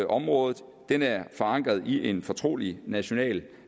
området er forankret i en fortrolig national